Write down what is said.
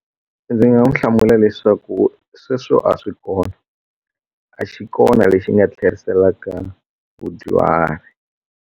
Ndzi nga n'wi hlamula leswaku sweswo a swi kona a xi kona lexi nga tlheriselaka vadyuhari.